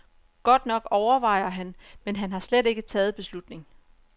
Godt nok overvejer han, men han har slet ikke taget beslutning.